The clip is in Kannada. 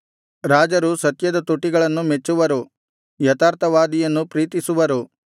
ರಾಜರು ಸತ್ಯದ ತುಟಿಗಳನ್ನು ಮೆಚ್ಚುವರು ಯಥಾರ್ಥವಾದಿಯನ್ನು ಪ್ರೀತಿಸುವರು